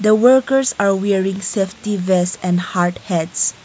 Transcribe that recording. the workers are bearing semi dress and hard head.